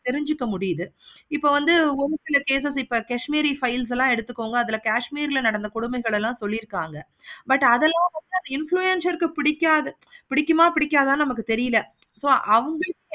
தெரிஞ்சிக்க முடியுது. இப்ப வந்து ஒரு சில cases க்கு இப்ப kashmir ரூ files லாம் எடுத்துக்கோங்க. அதுல kashmir ல நடந்த கொடுமைகள் எல்லாம் சொல்லி இருப்பாங்க. but அதெல்லாம் விட அந்த influencer ருக்கு பிடிக்காத பிடிக்குமா பிடிக்காதா தெரில so அத வந்து